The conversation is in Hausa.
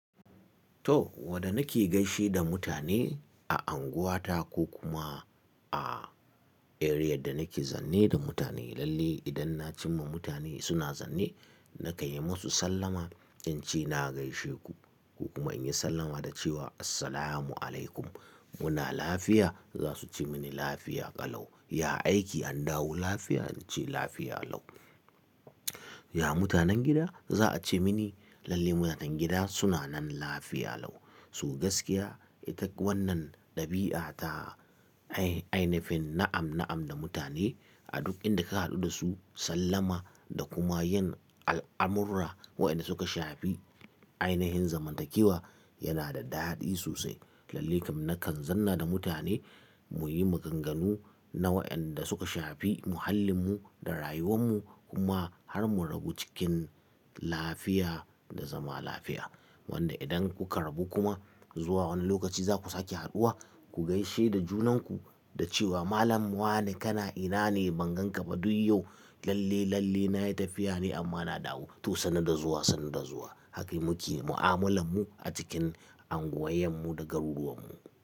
To, wadda nake gaishe da mutane a unguwata ko kuma a eriyar da nake zanne da mutane. Lalle idan na cimma mutane suna zane, na kai musu sallama, in ce na gaishe ku kuma in yi sallama da cewa, "Assalamu alaikum, muna lafiya?" Za su ce mini, "Lafiya ƙalau. Ya aiki an dawo lafiya?" In ce, "Lafiya lau. Ya mutanen gida?" Za a ce mini, "Lalle mutanen gida suna nan lafiya lau." To gaskiya, ita wannan ɗabi'a ta ainafin na'am-na'am da mutane a duk inda ka haɗu da su, sallama da kuma yin al'amura waɗanda suka shafi ainihin zamantakewa yana da daɗi sosai. Lalle kan na kan zanna da mutane mu yi maganganu na waɗanda suka shafi muhallinmu da rayuwanmu kuma har mu rabu cikin lafiya da zama lafiya. Wanda idan kuka rabu kuma zuwa wani lokaci za ku sake haduwa, ku gaishe da junanku da cewa, "Malam wane kana? Ina ne? Ban gan ka ba duk yau. Lalle, lalle na yi tafiya ne amma na dawo." To, sannu da zuwa, sannu da zuwa. Haka muke mu'amalanmu a cikin unguwannanmu da garuruwanmu.